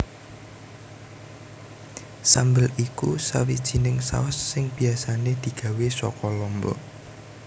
Sambel iku sawijining saus sing biasané digawé saka lombok